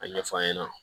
A ɲɛfɔ an ɲɛna